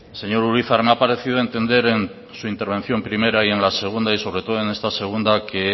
señor urizar me ha parecido entender en su intervención primera y en la segunda y sobre todo en esta segunda que